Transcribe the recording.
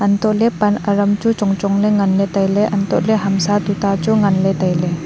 hantoh ley pan aram chu chong chong ley ngan ley tai ley antoh ley hamsa tuta chu ngan ley tai ley.